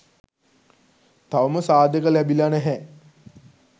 තවම සාධක ලැබිලා නැහැ